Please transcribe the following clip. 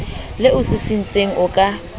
le o sisintseng o ka